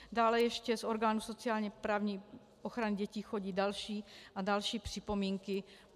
Dále ještě z orgánů sociálně-právní ochrany dětí chodí další a další připomínky.